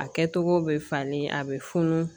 A kɛcogo bɛ falen a bɛ funu